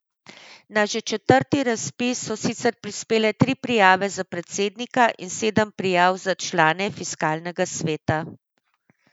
Na že četrti razpis so sicer prispele tri prijave za predsednika in sedem prijav za člane fiskalnega sveta.